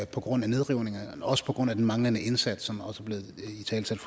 på grund af nedrivningerne men også på grund af den manglende indsats som også er blevet italesat